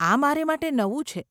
આ મારે માટે નવું છે.